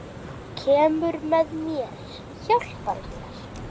Kemur með mér, hjálpar mér.